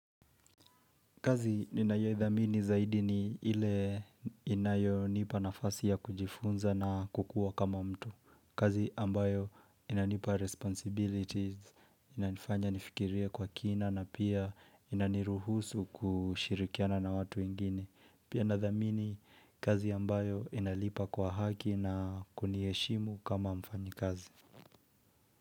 Kazi ninayoidhamini zaidi ni ile inayonipa nafasi ya kujifunza na kukuwa kama mtu. Kazi ambayo inanipa responsibilities, inanifanya nifikirie kwa kina na pia inaniruhusu kushirikiana na watu wengine. Pia nadhamini kazi ambayo inalipa kwa haki na kuniheshimu kama mfanyikazi.